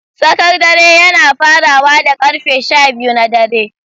Tsakar dare yana farawa da karfe shabiyu na dare.